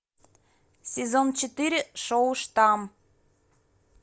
сезон четыре шоу штамм